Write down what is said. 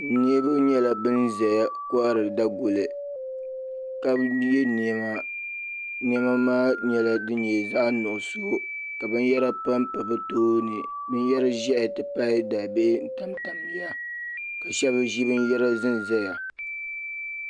Niribi nyela ban ʒeya lihiri daguli ka ye nɛma nɛma maa nyela din nye zaɣnuɣuso binyara pampa bɛ tooni binyari ʒehi ti pahi dalibihi n tamtaya ka shɛb ʒe binyara ʒenʒeya.